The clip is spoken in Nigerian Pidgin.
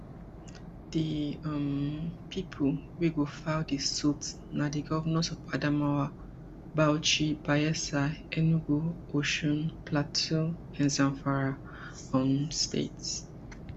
di um pipo wey go file di suit na di govnors of adamawa bauchi bayelsa enugu osun plateau and zamfara um states